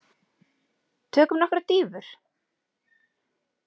Tökum nokkrar dýfur!